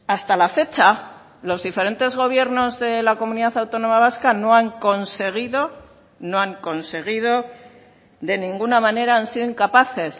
hasta la fecha los diferentes gobiernos de la comunidad autónoma vasca no han conseguido no han conseguido de ninguna manera han sido incapaces